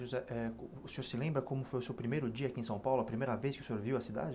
José, é o senhor se lembra como foi o seu primeiro dia aqui em São Paulo, a primeira vez que o senhor viu a cidade?